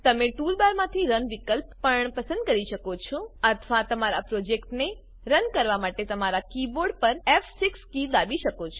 તમે ટૂલબારમાંથી રન વિકલ્પ પણ પસંદ કરી શકો છો અથવા તમારા પ્રોજેક્ટને રન કરવા માટે તમારા કીબોર્ડ પર ફ6 કી દાબી શકો છો